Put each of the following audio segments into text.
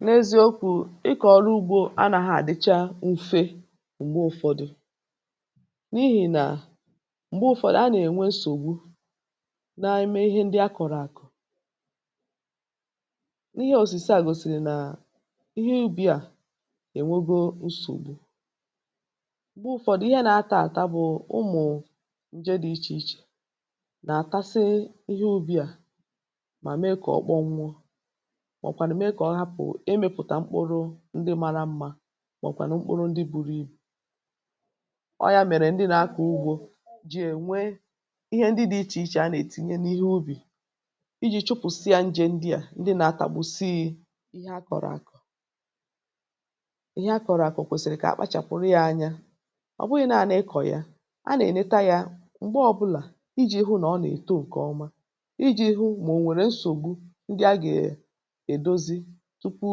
Ehee, n’eziokwu̇, ikọ̀rọ̀ ugbo ànàgà àdịchaa mfe, um mà m̀gbè ụ̀fọ̇dụ̇, ọ bụghị otú ahụ n’ihi nà m̀gbè ụ̀fọ̇dụ̇, a nà-ènwe nsògbu n’ime ihe ndị a kọ̀rọ̀ àkụ̀. N’ihe òsìsà gòsìrì, nà ihe ubi à, ènwogọ nsògbu m̀gbè ụ̀fọ̇dụ̇, ihe nà-ata àtà bụ̀ ụmụ̀ nje dị̇ iche iche nà-àtasị ihe ubi̇ à, mà mee kà ọkpọ nwọ, màọ̀kwàrị̀ mee kọ̇ ọhapụ̀, e mepùta mkpụrụ ndị mara mmȧ màọ̀kwàna mkpụrụ ndị buru ibù. Ọyȧ mèrè, ndị nà-akọ̀ ugbo jì ènwe ihe ndị dị̇ iche iche a nà-ètinye n’ihe ubi iji̇ chụpụ̀sịa ndị à, ndị nà-atàgbu̇sighi ihe a kọ̀rọ̀ àkọ̀. lhe a kọ̀rọ̀ àkọ̀ kwèsìrì kà a kpachàpụ̀rụ yȧ anya; ọ bụghị̇ naanị kọ̀ ya a nà-èneta yȧ m̀gbè ọbụlà iji̇ hụ nà ọ nà-èto nke ọma, iji̇ hụ mà ò nwèrè nsògbu, èdozi tupu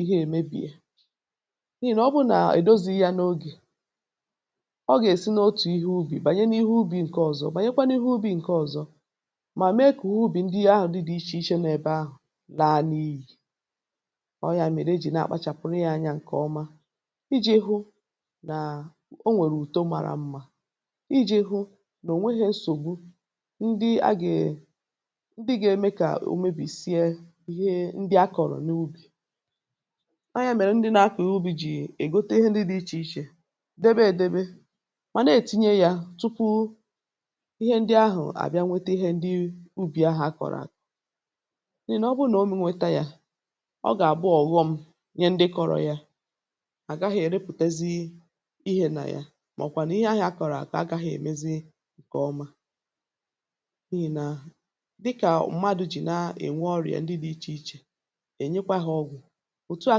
ihe èmebìè. N’ihì nà ọ bụrụ nà èdozi ya n’ogè, ọ gà-èsi n’otù ihe ubi bànye n’ihe ubi ǹke ọzọ, bànye kwa n’ihu ubi ǹke ọzọ, mà mee kà ubi ndị ahụ̀ dị iche iche nọọ̀ ebe ahụ̀ naanị̇. Ì ọ ya mède jì nà-akpachàpụrụ ya anyȧ nke ọma, iji̇ hụ nà o nwèrè ùto mara mmȧ, iji̇ hụ nà ò nweghi nsògbu ndị agèè, ndị gȧ-eme kà ò mebì sie ọ yȧ yà. Ọ mèrè, ndị nà-ȧkọ̀ ubi̇ jì ègote ihe ndị dị̇ iche iche, debe èdebe, mà na-ètinye yȧ tupu ihe ndị ahụ̀ àbịa, iji̇ nweta ihe ndị ubi ahụ̀ akọ̀rọ̀ à. N’ihi nà ọ bụrụ nà o mminṭi, um nweta yȧ, ọ gà-àbụ ọ̀ghọm ihe ndị kọ̇rọ̇ yȧ àgaghị̇ èrepùtezi ihe nà ya, màọ̀kwà nà ihe ahụ̀ akọ̀rọ̀ àkọ̀ agaghị̇ emezi nke ọma. N’ì nà dịkà mmadụ̇ jì na-ènwe ọrịà ndị dị̇ iche iche, òtu à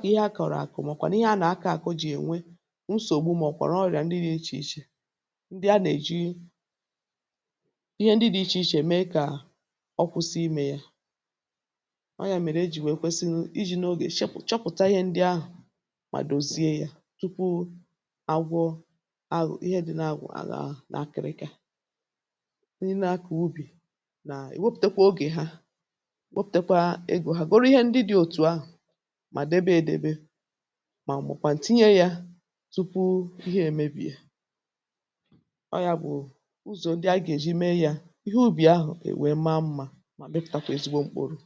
kà ihe akọ̀rọ̀ àkọ̀, màkwà nà ihe a nà-akọ̀ àkọ jì ènwe nsògbu, màọ̀kwàrọ̀ ọrị̀à ndị dị̇ iche iche. Ndị a nà-èji ihe ndị dị̇ iche iche mee kà ọ kwụsị imė yȧ ọọ̀ ya. Ọ mèrè, ejì nwèe kwesi iji̇ n’ogè chọpụ̀chọpụ̀ta ihe ndị ahụ̀, mà dòzie yȧ tupu agwọ aghụ̀ ihe dị̇ n’agwụ̀ àlà ahụ̀. N’akị̀rịkị̀, ihe nà-akọ̀ ubi nà ewepùtekwa ogè ha, mà dabe edebe, mà m̀bọ̀ kwa ǹtinye yȧ tupu ihe emebì yà. Ọ yȧ bụ̀ ụzọ̀ ndị agà èji mee yȧ ihe ubi ahụ̀, kà èwè mee mmȧ, mà mịpụ̀tàkwà ezigbo mkpụrụ.